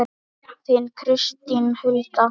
Þín Kristín Hulda.